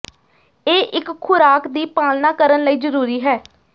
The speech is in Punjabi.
ਇਹ ਇੱਕ ਖੁਰਾਕ ਦੀ ਪਾਲਣਾ ਕਰਨ ਲਈ ਜ਼ਰੂਰੀ ਹੈ